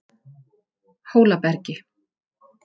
Hólabergi